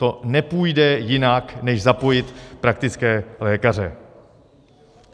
To nepůjde jinak než zapojit praktické lékaře.